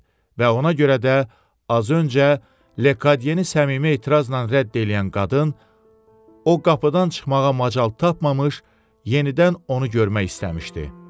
Və ona görə də, az öncə Lekadiyeni səmimi etirazla rədd eləyən qadın o qapıdan çıxmağa macal tapmamış, yenidən onu görmək istəmişdi.